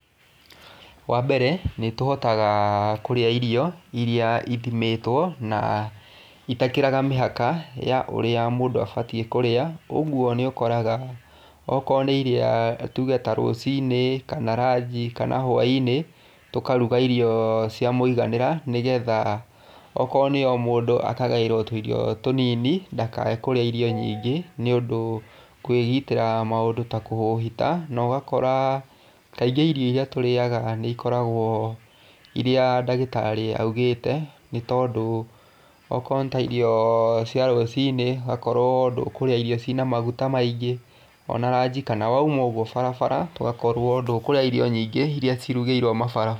Wa mbere nĩ tũhotaga kũrĩa irio iria ithimĩtwo, na itakĩraga mĩhaka ya ũrĩa mũndũ abatiĩ kũrĩa, ũguo nĩ ũkoraga okorwo nĩ iria tuge ta rũciinĩ kana ranji kana hwaĩ-inĩ tũkaruga irio cia miũganĩra nĩgetha okorwo nĩ o mũndũ akagaĩrwo tũirio tũnini ndakae kũrĩa irio nyingĩ nĩũndũ kwĩgitĩra maũndũ ta kũhũhita na ũgakora kaingĩ irio iria tũrĩaga nĩ ikoragwo iria ndagĩtarĩ augĩte, nĩ tondũ okorwo nĩ ta irio cia rũciinĩ, ũgakorwo ndũkũrĩa irio ciĩna maguta maingĩ, o na ranji kana wauma ũguo barabara, ũgakorwo ndũkũrĩa irio nyingĩ iria cirugĩirwo mabara.